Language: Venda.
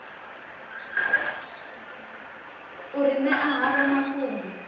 u ri ṅea havho mafhungo